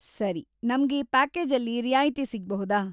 ಸರಿ, ನಮ್ಗೆ ಪ್ಯಾಕೇಜಲ್ಲಿ ರಿಯಾಯ್ತಿ ಸಿಗ್ಬಹುದಾ?